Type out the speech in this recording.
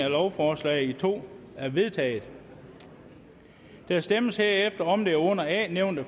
af lovforslaget i to er vedtaget der stemmes herefter om det under a nævnte